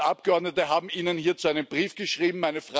Zwei Dutzend Abgeordnete haben Ihnen hierzu einen Brief geschrieben.